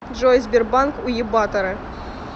джой сбербанк уебаторы